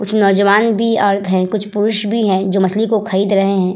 कुछ नौजवान भी औरत हैं कुछ पुरुष भी हैं जो मछली को खरीद रहे हैं ।